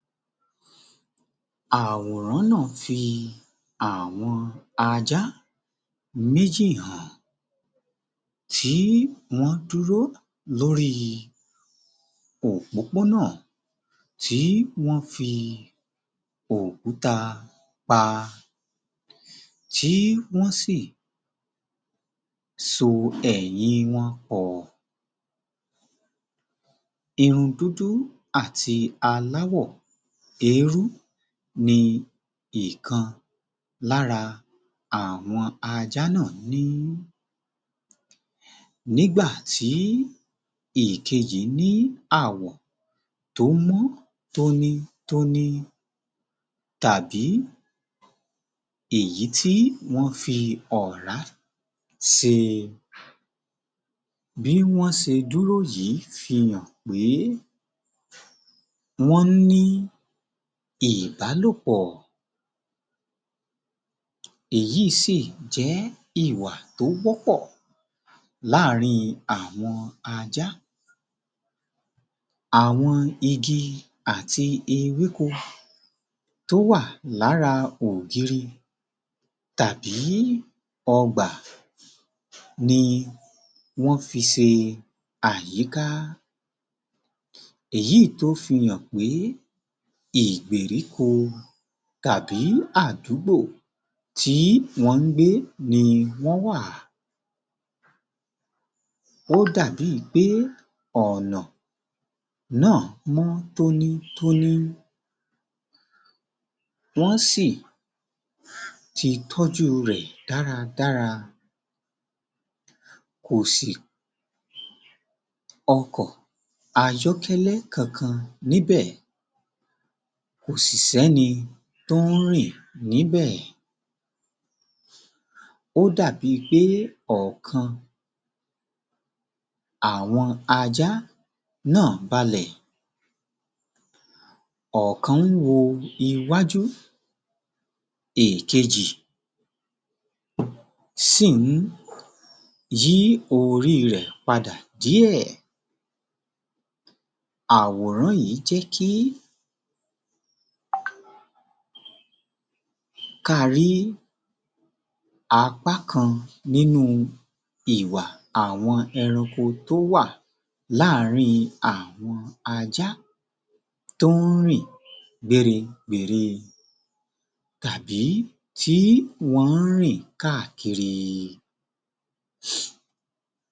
Àwòrán náà fi àwọn ajá méjì hàn, tí wọ́n dúró lóri òpópónà tí wọ́n fi òkúta pa, tí wọ́n sì so ẹ̀yìn wọn pọ̀. Irun dúdú àti aláwọ̀ eérú ni ìkan lára àwọn ajá náà ní, Nígbà tí ìkejì ní àwọ̀ tó mọ́ tónítóní, tàbí èyí ti wọ́n fi ọ̀rá ṣe, bí wọ́n ṣe dúró yìí fi hàn pé wọ́n ń ní ìbálòpọ̀. Èyí sì jẹ́ ìwà tó wọ́pọ̀ láàrin àwọn ajá, àwon igi àti ewéko tó wà lára ògiri tàbí ọgbà ni wọ́n fi ṣe àyíká, èyí tó fi hàn pé ìgbèríko tàbí àdúgbò tí wọ́n ń gbé ni wọ́n wà, ó dàbí i pé ọ̀nà náà mọ́ tónítóní, wọ́n sì ti tójú rẹ̀ dáradára, kò sí ọkọ̀ ayọ́kẹ́lẹ́ kankan níbẹ̀, kò sì sẹ́ni tó ń rìn níbẹ̀, ó dàbí i pé ọkàn àwọn ajá náà balẹ̀, ọ̀kan ń wo iwájú, ìkejì sì ń yí orí rẹ̀ padà díẹ̀. Àwòrán yìí jẹ́ kí kí a rí apá kan nínú ìwà àwọn ẹranko tó wà láàrin àwọn ajá tó ń rìn gbéregbère tàbí tí wọ́n ń rìn káàkiri.